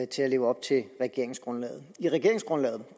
til at leve op til regeringsgrundlaget i regeringsgrundlaget